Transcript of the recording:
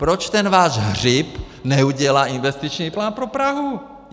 Proč ten váš Hřib neudělá investiční plán pro Prahu?